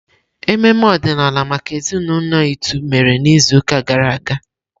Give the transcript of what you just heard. Ememe ọdịnala maka ezinaụlọ Itu mere n'izuụka gara aga.